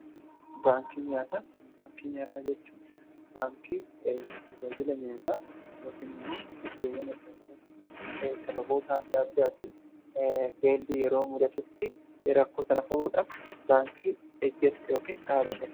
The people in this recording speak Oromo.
Baankii nyaataa jechuu baankii tajaajila nyaataa yookiin immoo iddowwan adda addaatti sababoota adda addaatiin beellii yeroo mudatutti raakkoo sana furuudhaaf baankii hojjetu yookiin dhaabbatedha.